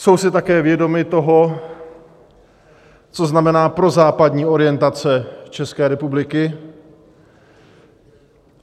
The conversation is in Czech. Jsou si také vědomy toho, co znamená prozápadní orientace České republiky.